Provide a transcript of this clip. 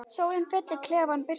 Sólin fyllir klefann birtu.